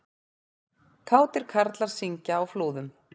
Kátir karlar syngja á Flúðum